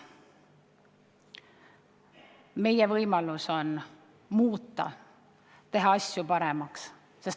Meie võimalus on muuta, teha asju paremaks.